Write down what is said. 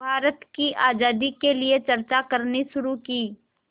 भारत की आज़ादी के लिए चर्चा करनी शुरू की